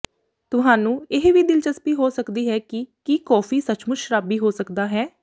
ਤੁਹਾਨੂੰ ਇਹ ਵੀ ਦਿਲਚਸਪੀ ਹੋ ਸਕਦੀ ਹੈ ਕਿ ਕੀ ਕੌਫੀ ਸੱਚਮੁੱਚ ਸ਼ਰਾਬੀ ਹੋ ਸਕਦਾ ਹੈ